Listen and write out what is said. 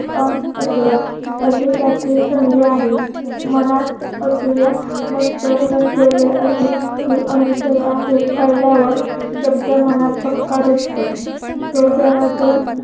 पण असु या अशी त्यातील संधी आहे मनात असू या नसलेले असे मी अनुसया हे कळल्यावर शब्द मनात पक्का रुततो तो जरा जर